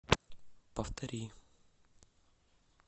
повтори